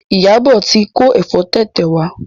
Iyabo tí ko efo tete wá.